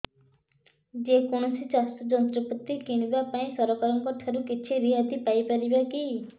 ଯେ କୌଣସି ଚାଷ ଯନ୍ତ୍ରପାତି କିଣିବା ପାଇଁ ସରକାରଙ୍କ ଠାରୁ କିଛି ରିହାତି ପାଇ ପାରିବା କି